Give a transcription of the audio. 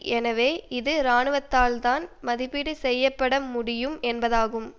எனவே இது இராணுவத்தால் தான் மதிப்பீடு செய்ய பட முடியும் என்பதாகும்